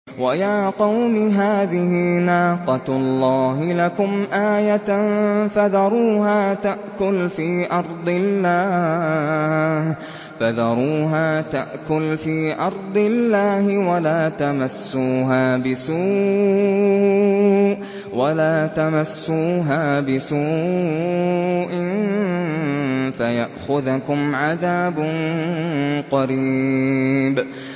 وَيَا قَوْمِ هَٰذِهِ نَاقَةُ اللَّهِ لَكُمْ آيَةً فَذَرُوهَا تَأْكُلْ فِي أَرْضِ اللَّهِ وَلَا تَمَسُّوهَا بِسُوءٍ فَيَأْخُذَكُمْ عَذَابٌ قَرِيبٌ